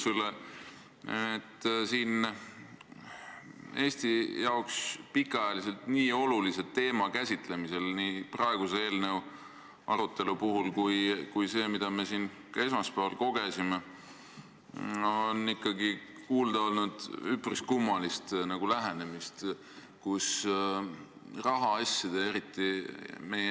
Selle Eesti jaoks pikaajaliselt nii olulise teema käsitlemisel oleme näinud nii praeguse eelnõu arutelul kui ka esmaspäeval üpris kummalist lähenemist.